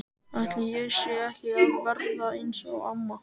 Ætli ég sé ekki að verða eins og amma?